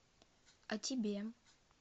а тебе